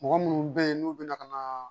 Mɔgɔ munnu be yen n'u bina ka na